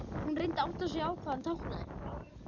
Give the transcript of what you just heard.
Hún reyndi að átta sig á því hvað hann táknaði.